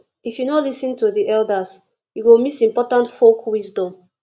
if you no lis ten to the elders you go miss important folk wisdom